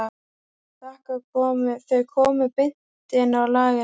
Þau komu beint inn á lagerinn.